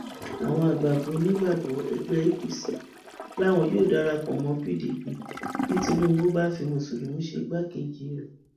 àwọn àgbààgbà onígbàgbọ ẹgbẹ apc làwọn yóò darapọ mọ pdp bí tìǹbù bá fi mùsùlùmí ṣe igbákejì rẹ